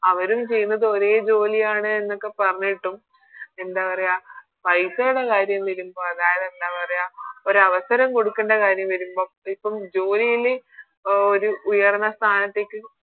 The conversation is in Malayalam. അവരും ചെയ്യുന്നത് ഒരേ ജോലിയാണ് എന്നൊക്കെ പറഞ്ഞിട്ടും എന്താ പറയാ പൈസേടെ കാര്യം വരുമ്പോ അതായത് എന്താ പറയാ ഒരവസരം കൊടുക്കണ്ട കാര്യം വരുമ്പോ അതിപ്പോ ജോലില് ഒരു ഉയർന്ന സ്ഥാനത്തേക്ക്